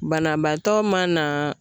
Banabaatɔ mana